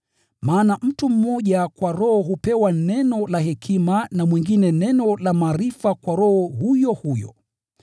Maana mtu mmoja kwa Roho hupewa neno la hekima na mwingine neno la maarifa kwa Roho huyo huyo.